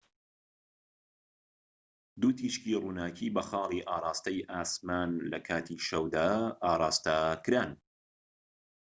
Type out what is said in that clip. دوو تیشکی ڕووناكی بە خاڵی ئاڕاستەی ئاسمان لە کاتی شەودا ئاڕاستەکران